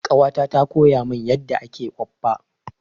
Ƙawata ta koya min yadda ake okpa.